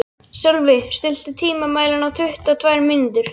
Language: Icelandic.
Sölvi, stilltu tímamælinn á tuttugu og tvær mínútur.